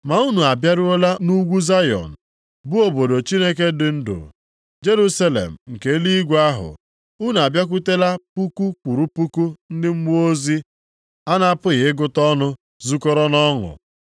Ma unu abịaruola nʼugwu Zayọn, bụ obodo Chineke dị ndụ, Jerusalem nke eluigwe ahụ. Unu abịakwutela puku kwụrụ puku ndị mmụọ ozi a na-apụghị ịgụta ọnụ zukọrọ nʼọṅụ.